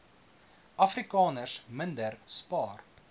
afrikaners minder spaar